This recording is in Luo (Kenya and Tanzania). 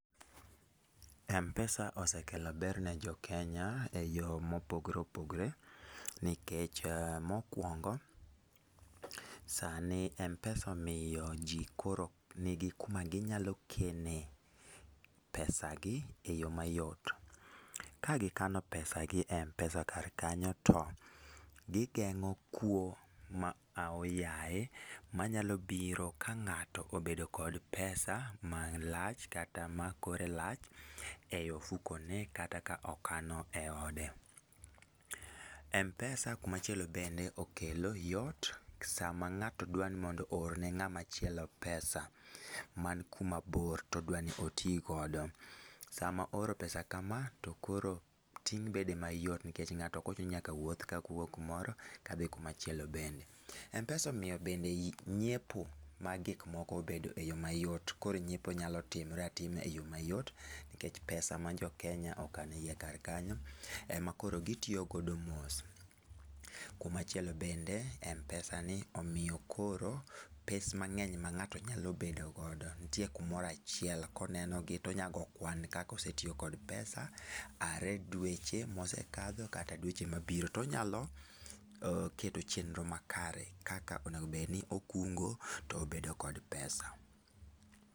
mpesa osekelo ber no jokenya e yo mopogore opogore nikech mokuongo, sani mpesa omiyo ji koro nigi kuma ginyalo keene pesa gie yoo mayot, ka gi kano pesa e mpesa kanyo to gi geng'o kuo ma aoyaye mabiro ka ng'ato obedo kod pesa malach kata ma kore lach e ofukone kata ka okano e ode. Mpesa kuma chielo bende okelo yot, sama ng'ato dwaro ni mondo oorne ng'ama chielo pesa man kuma bor to odwaro ni ti godo, sama ooro pesa kama to koro ting' bedo mayot nikech ng'ato ok ochuno ni nyaka wuoth kowuok kamoro kadhi kuma chielo bende, mpesa omiyo bende nyiepo mag gik moko obedo e yo mayot, koro nyiepo nyalo timre atima e yoo mayot nikech pesa ma jokenya okano e iye kar kanyo ema koro gi tiyo godo mos, kuma chielo bende mpesa ni omiyo koro pes mang'eny ma ngato nyalo bedo godo nitie kumoro achiel koneno gi to nyalo goyo kwan kaka osetiyo kod pesa are dweche mosekalo kata dweche mabiro to nyalo keto chenro makare kaka onego bed ni okungo to obedo kod pesa.